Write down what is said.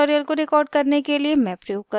इस tutorial को record करने के लिए मैं प्रयोग कर रही हूँ